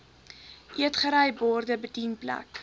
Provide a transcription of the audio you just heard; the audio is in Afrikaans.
eetgery borde bedienplek